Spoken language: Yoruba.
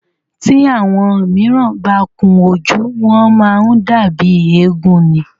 Tí àwọn míràn bá kun ojú, wọ́n má ń dàbí éégún ni.